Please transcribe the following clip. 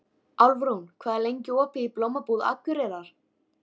Álfrún, hvað er lengi opið í Blómabúð Akureyrar?